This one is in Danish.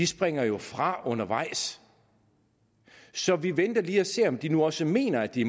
springer jo fra undervejs så vi venter lige for at se om de nu også mener at de